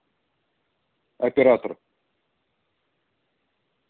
оператор